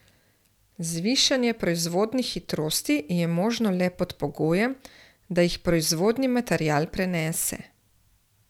Zvišanje proizvodnih hitrosti je možno le pod pogojem, da jih proizvodnji material prenese.